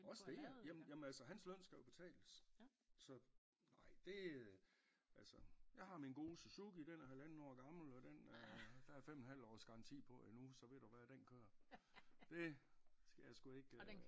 Også det ja jamen jamen altså hans løn skal jo betales så nej det øh altså jeg har min gode Suzuki den er halvanden år gammel og den er der er fem en halv års garanti på endnu så ved du hvad den kører det skal jeg sgu ikke